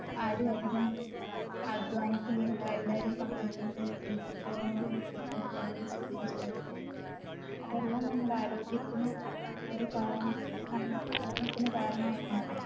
ആരു അതികം അധ്വാനിക്കുന്നില്ല എല്ലാരും Computer ൻറെ അല്ലെങ്കി Phone ൻറെ മുമ്പിലാണ് കൂടുതൽ സമയം ചെലവഴിക്കുന്നത് അതെല്ലാം നമ്മുടെ ആരോഗ്യത്തിന് ഒര് കാരണ ഒരു കാരണവായി മാറുന്നു